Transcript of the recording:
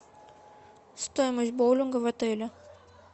стоимость боулинга в отеле